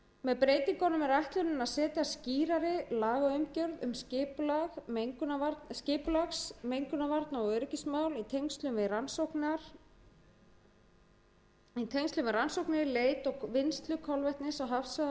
með breytingunum er ætlunin að setja skýrari lagaumgjörð um skipulags mengunarvarna og öryggismál í tengslum við rannsóknir leit og vinnslu kolvetnis á hafsvæðunum umhverfis